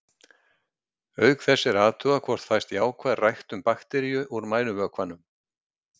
Auk þess er athugað hvort fæst jákvæð ræktun bakteríu úr mænuvökvanum.